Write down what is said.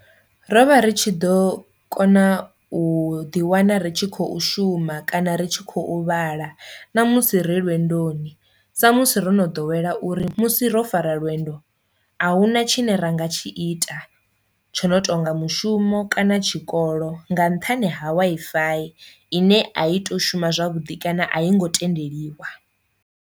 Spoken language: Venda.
Rovha ri tshi ḓo kona u ḓi wana ri tshi khou shuma kana ri tshi khou vhala na musi ri lwendoni sa musi ro no ḓowela uri musi ro fara lwendo a hu na tshine ra nga tshi ita tsho no tonga mushumo kana tshikolo nga nṱhani ha Wi-Fi ine a i to shuma zwavhuḓi kana a i ngo tendeliwa.